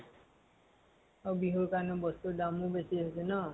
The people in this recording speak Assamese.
আৰু বিহু ৰ কাৰণে বস্তু ৰ দামো বেছি হৈছে ন ?